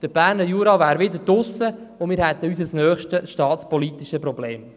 Der Berner Jura wäre wieder draussen, und damit hätten wir unser nächstes staatspolitisches Problem.